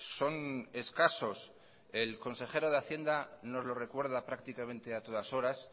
son escasos el consejero de hacienda nos lo recuerda prácticamente a todas horas